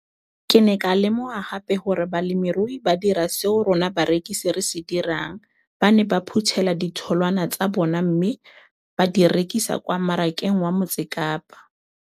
Ke ne ka lemoga gape gore balemirui ba dira seo rona barekisi re se dirang - ba ne ba phuthela ditholwana tsa bona mme ba di rekisa kwa marakeng wa Motsekapa.